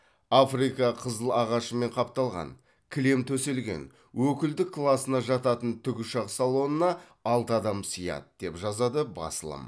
африка қызыл ағашымен қапталған кілем төселген өкілдік класына жататын тікұшақ салонына алты адам сыяды деп жазады басылым